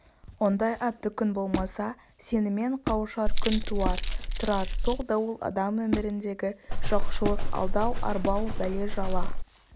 ондай атты күн болса сенімен қауышар күн туар тұрар сол дауыл адам өміріндегі жоқшылық алдау-арбау бәле-жала